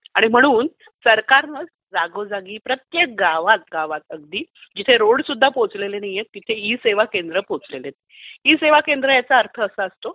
म्हणून सरकारने जागोजागी प्रत्येक गावागावात अगदी जिथे रोडसुद्धा पोहोचलेले नाहीत तिथे ई सेवा केंद्र पोहोचलेले आहेत. ई सेवा केंद्र याचा अर्थ असा असतो,